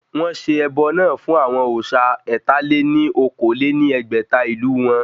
Wọ́n ṣe ẹbọ náà fún àwọn òsà ẹ̀ta-lé-ní-okòó lé ní ẹgbẹ́ta ìlú wọn